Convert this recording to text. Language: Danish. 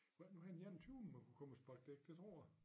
Var det nu her den enogtyvende man kunne komme og sparke dæk det tror jeg